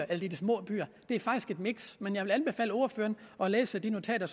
er de små byer det er faktisk et miks men jeg vil anbefale ordføreren at læse de notater